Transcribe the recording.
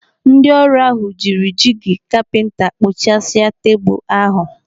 Ndị ọrụ ahụ jiri jigi kapinta kpụ̀chàsia tebụl ahụ.